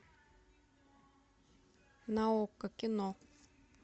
на окко кино